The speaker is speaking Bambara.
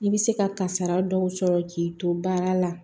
I bɛ se ka kasara dɔw sɔrɔ k'i to baara la